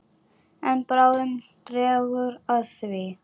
En bráðum dregur að því.